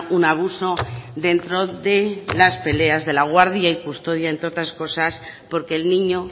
un abuso dentro de las peleas de la guardia y custodia entre otras cosas porque el niño